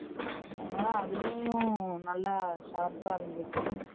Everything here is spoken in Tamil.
ஆனா அதுலயும் நல்ல Sharp அ இருந்துக்கோ